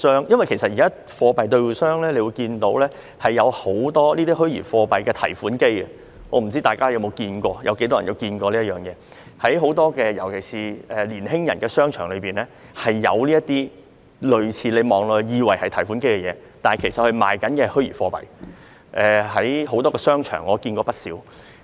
因為現時貨幣兌換商設有很多這類虛擬貨幣的提款機，我不知道大家有否見過或有多少人曾見過，尤其在很多年輕人流連的商場內常設有這類看似是提款機的物體，但其實是售賣虛擬貨幣的，我在多個商場見過不少。